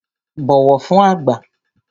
Bọ̀wọ̀ fün àgbà!